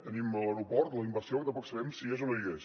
tenim l’aeroport la inversió que tampoc sabem si hi és o no hi és